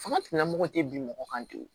Fanga tigilamɔgɔw tɛ bin mɔgɔ kan ten